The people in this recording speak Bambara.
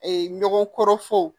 ɲɔgɔn kɔrɔ fɔ